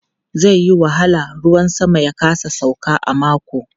Zai yi wahala ruwan sama ya kasa sauka a mako.